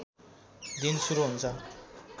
दिन सुरु हुन्छ